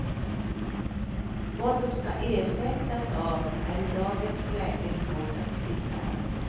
Vad de ska ersättas av är i dagens läge svårt att sia om.